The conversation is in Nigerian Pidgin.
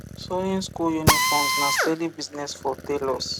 sewing school uniforms na steady business for tailors